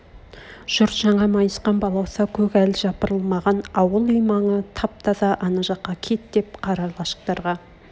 жұрт жаңа майысқан балауса көк әл жапырылмаған ауыл-үй маңы тап-таза ана жаққа кет деп қара лашықтарға